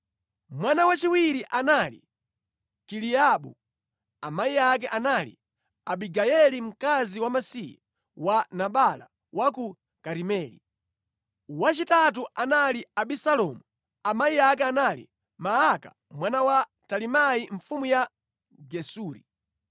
Mwana wachiwiri anali Kileabu, amayi ake anali Abigayeli mkazi wamasiye wa Nabala wa ku Karimeli. Wachitatu anali Abisalomu, amayi ake anali Maaka mwana wa Talimai mfumu ya Gesuri;